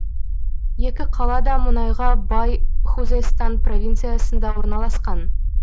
екі қала да мұнайға бай хузестан провинциясында орналасқан